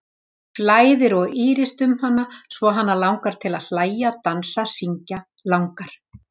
Flæðir og ýrist um hana svo hana langar til að hlæja, dansa, syngja, langar